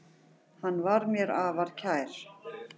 Hann var mér afar kær.